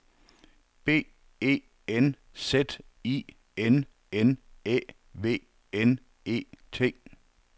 B E N Z I N N Æ V N E T